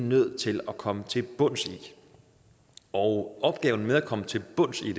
nødt til at komme til bunds i og opgaven med at komme til bunds i